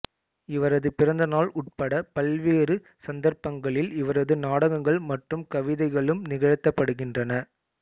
இவரது பிறந்த நாள் உட்பட பல்வேறு சந்தர்ப்பங்களில் இவரது நாடகங்கள் மற்றும் கவிதைகளும் நிகழ்த்தப்படுகின்றன